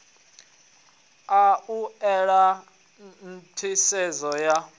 a u ela nḓisedzo ya